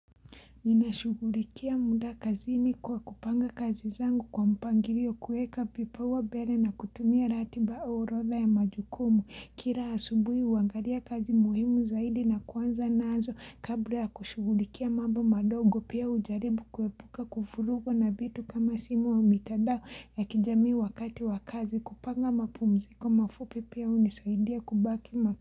Ninashugulikia muda kazini kwa kupanga kazi zangu kwa mpangilio kuweka kipawa mbele na kutumia ratiba orodha ya majukumu. Kila asubui huangalia kazi muhimu zaidi na kuanza nazo kabla ya kushugulikia mambo madogo pia hujaribu kuepuka kufurugo na vitu kama simu wa mitadao ya kijamii wakati wa kazi kupanga mapumziko mafupi pia hunisaidia kubaki ma.